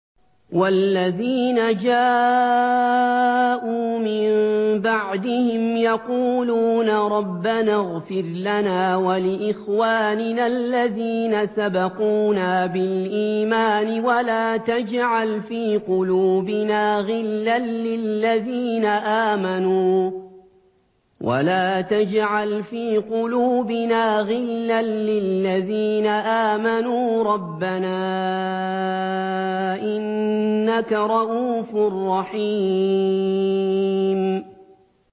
وَالَّذِينَ جَاءُوا مِن بَعْدِهِمْ يَقُولُونَ رَبَّنَا اغْفِرْ لَنَا وَلِإِخْوَانِنَا الَّذِينَ سَبَقُونَا بِالْإِيمَانِ وَلَا تَجْعَلْ فِي قُلُوبِنَا غِلًّا لِّلَّذِينَ آمَنُوا رَبَّنَا إِنَّكَ رَءُوفٌ رَّحِيمٌ